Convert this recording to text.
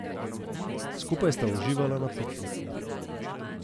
Skupaj sta uživala na pikniku.